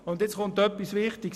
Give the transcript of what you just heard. Nun kommt etwas Wichtiges: